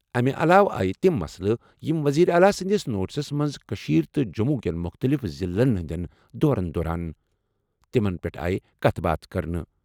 اَمہِ علاوٕ آیہِ تِم مسلہٕ یِم وزیر اعلیٰ سٕنٛدِس نوٹس منٛز کٔشیٖر تہٕ جموں کٮ۪ن مُختٔلِف ضِلعن ہِنٛدین دورن دوران، تِمن پیٚٹھ آیہ کَتھ باتھ کرنہٕ۔